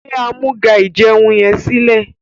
gbé Amúga-ìjẹun yén silẹ!